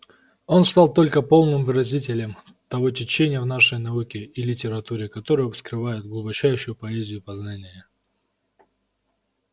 он стал только полным выразителем того течения в нашей науке и литературе которое вскрывает глубочайшую поэзию познания